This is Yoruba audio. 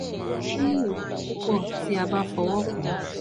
ó ní ìrora púpọ̀ tí a bá fọwọ́ kàn án